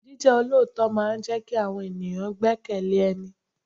Jíjẹ́ olóòótọ́ máa ń jẹ kí àwọn ènìyàn gbekele ẹni.